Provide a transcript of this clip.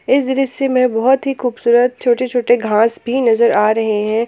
इस दृश्य में बहुत ही खूबसूरत छोटे छोटे घास भी नजर आ रहे हैं।